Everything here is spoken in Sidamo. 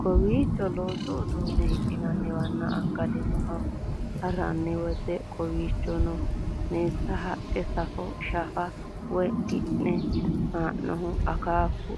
Kawichchi loosu uddune hidhinaniwana akkalinoha hirraniwati kowichonno meesanne haqqi, saaffe, shaafa woyi kinna haana'nihu akkaaffu